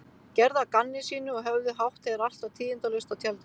Gerðu að gamni sínu og höfðu hátt þegar allt var tíðindalaust á tjaldinu.